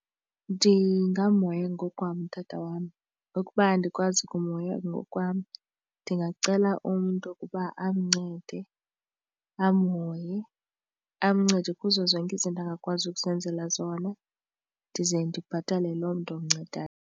Ndingamhoya ngokwam utata wam, ukuba andikwazi kumhoya ngokwam ndingacela umntu ukuba amncede amhoye amncede kuzo zonke izinto angakwazi ukuzenzela zona ndize ndibhatale loo mntu umncedayo.